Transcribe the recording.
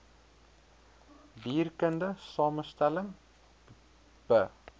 dierkundige samestelling be